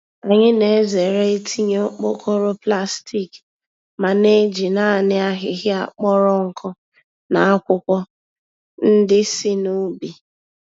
Anyị na-ezere itinye okpokoro plastik ma na-eji naanị ahịhịa kpọrọ nkụ na akwụkwọ ndị si n'ubi.